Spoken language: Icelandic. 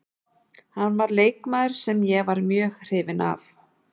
Hann var leikmaður sem ég var mjög hrifinn af.